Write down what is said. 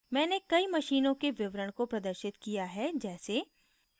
मैंने कई मशीनों के विवरण को प्रदर्शित किया हैं जैसे